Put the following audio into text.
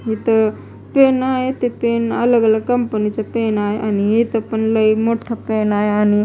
हिथं तर पेन आहे ते पेन अलग अलग कंपनीच पेन आहे आणि इथं पण लय मोठा पेन आहे आणि--